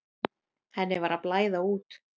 Henni var að blæða út.